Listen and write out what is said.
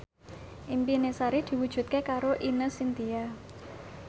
impine Sari diwujudke karo Ine Shintya